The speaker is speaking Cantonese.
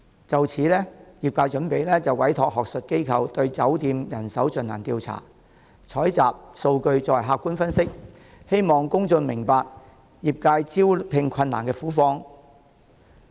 就此，業界準備委託學術機構對酒店業人手進行調查，採集數據作客觀分析，希望公眾明白業界招聘困難的苦況。